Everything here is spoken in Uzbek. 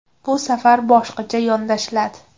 Bu safar boshqacha yondashiladi.